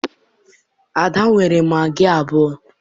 Ada nyere m magị abụọ